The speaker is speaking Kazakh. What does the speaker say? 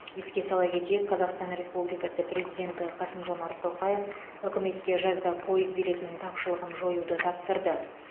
еске сала кетейік қазақстан республикасы президенті қасым жомарт тоқаев үкіметке жазда пойыз билетінің тапшылығын жоюды тапсырды